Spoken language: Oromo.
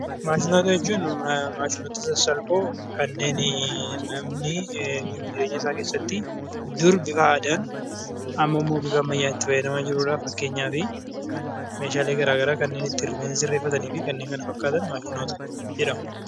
Maashinoota jechuun maashinoota sassalphoo kanneen namni jiruuf jireenya isaa keessatti dur bifa aadaan ammammoo bifa ammaan itti fayyadamaa jirudha. Fakkeenyaafi meeshaalee garagaraa kanneen ittiin rifeensa sirreefataniifi kanneen kana fakkaatan maashinoota jedhamu.